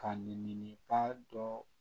Ka nin ba dɔ